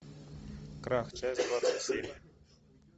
крах часть двадцать семь